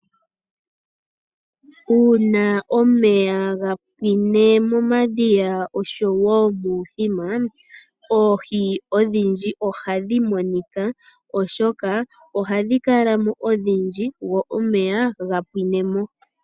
Uuna omeya ga pwine momadhiya oshowo muuthima oohi odhindji ohadhi monika oshoka ohadhi kala mo odhindji go omeya ga pwine mo.